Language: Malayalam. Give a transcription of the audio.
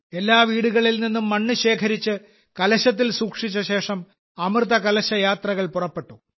എല്ലാ വീടുകളിൽനിന്നും മണ്ണ് ശേഖരിച്ച് കലശത്തിൽ സൂക്ഷിച്ച ശേഷം അമൃതകലശ യാത്രകൾ പുറപ്പെട്ടു